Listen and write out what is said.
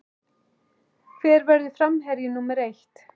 Hver verður framherji númer eitt?